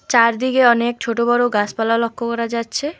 চারদিকে অনেক ছোট বড় গাসপালা লক্ষ করা যাচ্ছে।